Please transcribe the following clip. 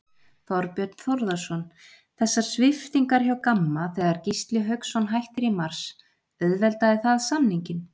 Þorbjörn Þórðarson: Þessar sviptingar hjá Gamma þegar Gísli Hauksson hættir í mars, auðveldaði það samninginn?